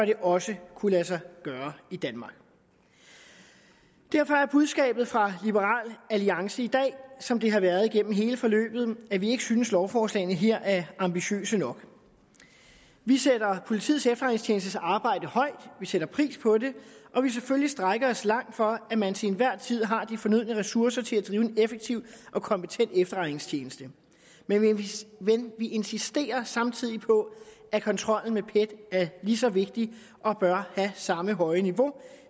det også kunne lade sig gøre i danmark derfor er budskabet fra liberal alliance i dag som det har været igennem hele forløbet at vi ikke synes at lovforslagene her er ambitiøse nok vi sætter politiets efterretningstjenestes arbejde højt vi sætter pris på det og vil selvfølgelig strække os langt for at man til enhver tid har de fornødne ressourcer til at drive en effektiv og kompetent efterretningstjeneste men vi insisterer samtidig på at kontrollen med pet er lige så vigtig og bør have samme høje niveau